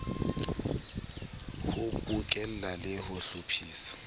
ho bokella le ho hlophisa